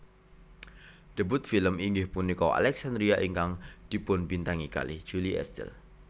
Debut film inggih punika Alexandria ingkang dipunbintangi kalih Julie Estelle